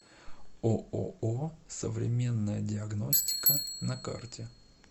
ооо современная диагностика на карте